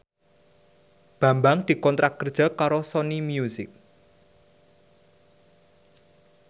Bambang dikontrak kerja karo Sony Music